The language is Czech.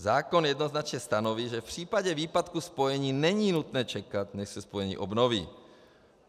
Zákon jednoznačně stanoví, že v případě výpadku spojení není nutné čekat, než se spojení obnoví.